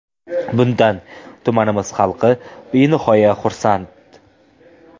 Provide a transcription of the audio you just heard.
Bundan tumanimiz xalqi benihoya xursand.